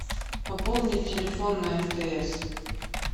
пополнить телефон на мтс